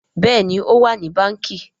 Béèni o wá ní Bánkì.